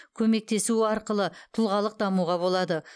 көмектесу арқылы тұлғалық дамуға болады